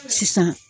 Sisan